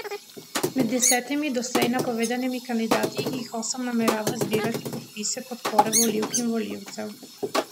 Med desetimi doslej napovedanimi kandidati jih osem namerava zbirati podpise podpore volivk in volivcev.